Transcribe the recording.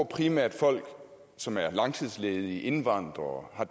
primært folk som er langtidsledige indvandrere